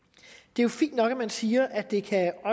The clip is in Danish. det er jo fint nok at man siger at det